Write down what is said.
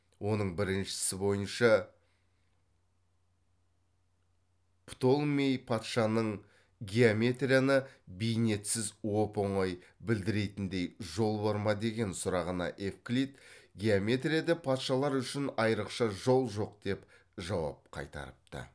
оның біріншісі бойынша птолмей патшаның геометрияны бейнетсіз оп оңай білдіретіндей жол бар ма деген сұрағына евклид геометрияда патшалар үшін айрықша жол жоқ деп жауап қайтарыпты